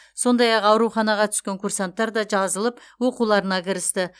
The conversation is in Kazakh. сондай ақ ауруханаға түскен курсанттар да жазылып оқуларына кірісті